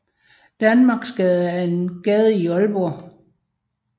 Danmarksgade er en gade i Aalborg